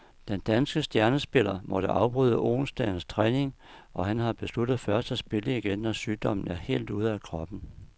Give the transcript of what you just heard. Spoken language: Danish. Den danske stjernespiller måtte afbryde onsdagens træning, og han har besluttet først at spille igen, når sygdommen er helt ude af kroppen.